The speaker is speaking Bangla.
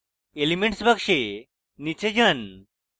elements box নীচে যান